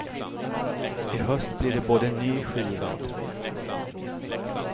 I höst blir det både ny skiva och turné.